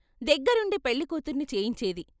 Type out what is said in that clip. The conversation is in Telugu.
దగ్గరుండి పెళ్ళికూతుర్ని చేయించేది.